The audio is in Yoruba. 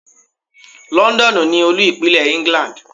Londonu ni Olú-Ìpínlẹ̀ England.